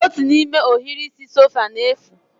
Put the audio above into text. Otu n'ime ohiri isi sofa na-efu